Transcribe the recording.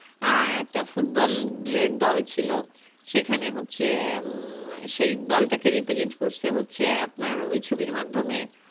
আহ আরেক টা football ব্লের দল ছিল সে খানে হচ্ছে উহ সেই দোল তাকে reposit করছে হচ্ছে আপনার ওই ছবির মাধ্যমে